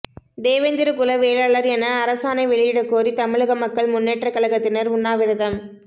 தேவேந்திரகுல வேளாளர் என அரசாணை வெளியிடக்கோரி தமிழக மக்கள் முன்னேற்ற கழகத்தினர் உண்ணாவிரதம்